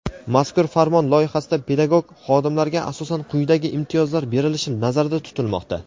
Mazkur farmon loyihasida pedagog xodimlarga asosan quyidagi imtiyozlar berilishi nazarda tutilmoqda:.